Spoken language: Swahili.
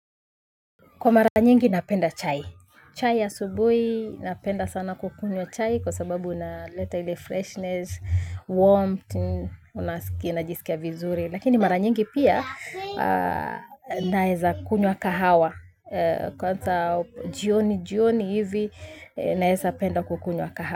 Kwa mara nyingi napenda chai. Chai ya asubui napenda sana kukunywa chai kwa sababu unaleta hile freshness, warmth, unajisikia vizuri. Lakini mara nyingi pia naeza kunywa kahawa. Kwanza jioni jioni hivi naeza penda kukunywa kahawa.